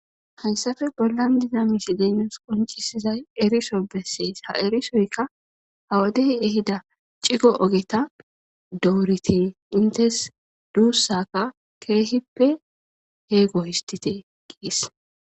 Hayssafe bollan diza miishezi nuss qonccisizay eriso bessees ha erisoyka hawodey ehida cigo ogeta doorite intes duussakka keehippe heego histtite giis.